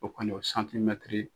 O kɔni o .